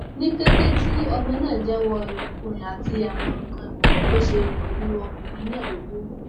ní kété tí ọmọ náà jẹwọ irinkurin àti àwọn nǹkan ìkọkọ tí ó ṣe pẹlú ọkùnrin náà ló kù